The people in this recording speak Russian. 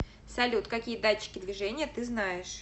салют какие датчики движения ты знаешь